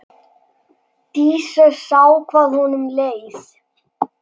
Dísa sá hvað honum leið.